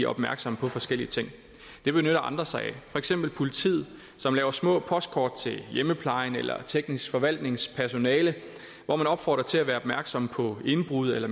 opmærksomme på forskellige ting det benytter andre sig af for eksempel politiet som laver små postkort til hjemmeplejen eller teknisk forvaltnings personale hvor man opfordrer til at være opmærksom på indbrud eller